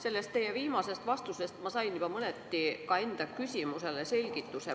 Sellest teie viimasest vastusest ma sain juba mõneti ka enda küsimusele selgituse.